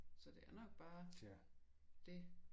Så det er nok bare det